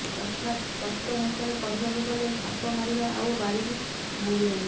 ଅର୍ଥାତ୍ ସ୍ପଷ୍ଟ ଭାଷାରେ କହିବାକୁ ଗଲେ ସାପ ମାରିବା ଆଉ ବାଡି ବି ଭାଙ୍ଗିବନି